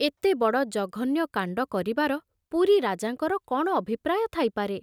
ଏତେବଡ଼ ଜଘନ୍ୟ କାଣ୍ଡ କରିବାର ପୁରୀ ରାଜାଙ୍କର କଣ ଅଭିପ୍ରାୟ ଥାଇପାରେ ?